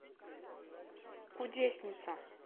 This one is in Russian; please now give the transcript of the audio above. кудесница